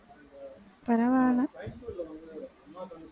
பரவாயில்லை